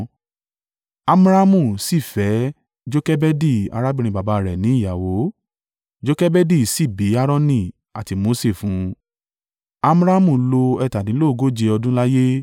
Amramu sì fẹ́ Jokebedi arábìnrin baba rẹ̀ ní ìyàwó. Jokebedi sì bí Aaroni àti Mose fún un. Amramu lo ẹ̀tàdínlógóje (137) ọdún láyé.